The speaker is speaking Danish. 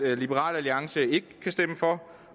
at liberal alliance ikke kan stemme for